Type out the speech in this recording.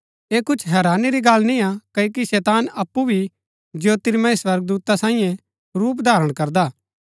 ऐह कुछ हैरानी री गल्ल निय्आ क्ओकि शैतान अप्पु भी ज्योतिर्मय स्वर्गदूता सांईयै रूप धारण करदा हा